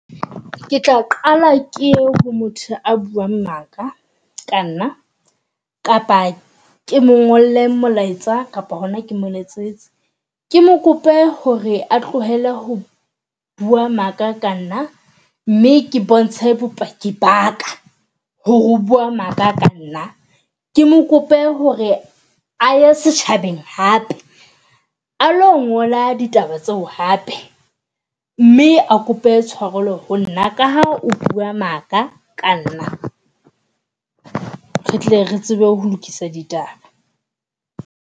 Ke tla qala ke ye ho motho a buang maka ka nna. Kapa ke mo ngolle molaetsa kapo hona ke mo letsetse. Ke mo kope hore a tlohelle ho bua maka ka nna mme ke bontshe bopaki baka hore o bua maka ka nna. Ke mo kope hore a ye setjhabeng hape alo ngola ditaba tseo hape mme a kope tshwarelo ho nna ka ha o bua maka ka nna. Re tle re tsebe ho lokisa ditaba.